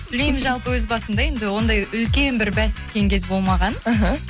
блин жалпы өз басымда енді ондай үлкен бір бәс тіккен кез болмаған мхм